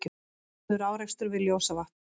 Harður árekstur við Ljósavatn